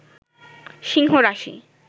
সিংহ রাশি